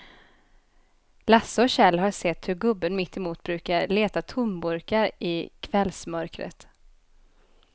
Lasse och Kjell har sett hur gubben mittemot brukar leta tomburkar i kvällsmörkret.